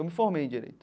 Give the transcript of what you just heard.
Eu me formei em direito.